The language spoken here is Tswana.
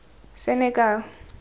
senekal